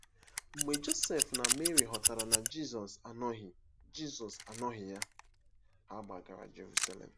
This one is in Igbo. Mgbe Josef na Meri ghọtara na Jizọs anọghị Jizọs anọghị ya, ha gbagara Jeruselem.